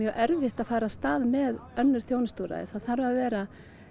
erfitt að fara af stað með önnur þjónustuúrræði það þarf að vera